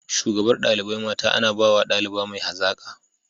Shugabar dalibai mata ana bawa daliba mai hazaka.